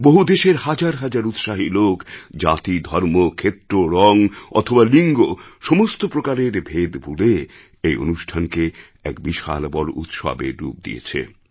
বহু দেশের হাজার হাজার উৎসাহী লোক জাতি ধর্ম ক্ষেত্র রঙ অথবা লিঙ্গ সমস্ত প্রকারের ভেদ ভুলে এই অনুষ্ঠানকে এক বিশাল বড় উৎসবের রূপ দিয়েছে